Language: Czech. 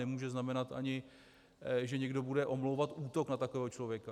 Nemůže znamenat ani, že někdo bude omlouvat útok na takového člověka.